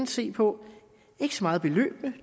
se på ikke så meget beløbene